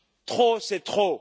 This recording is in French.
Trop, c'est trop!